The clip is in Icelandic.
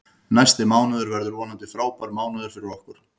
Næsti mánuður verður vonandi frábær mánuður fyrir okkur.